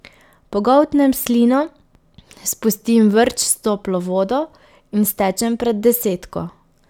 Pogoltnem slino, spustim vrč s toplo vodo in stečem pred desetko.